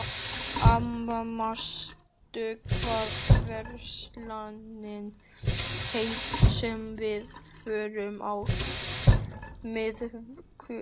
Amy, manstu hvað verslunin hét sem við fórum í á miðvikudaginn?